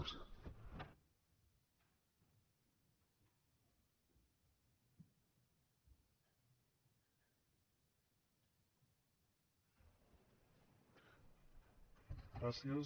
gràcies